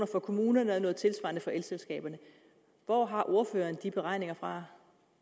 for kommunerne og noget tilsvarende for elselskaberne hvor har ordføreren de beregninger fra